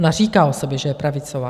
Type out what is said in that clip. Ona říká o sobě, že je pravicová.